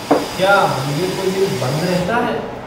क्या मंदिर कोई दिन बंद रहता है?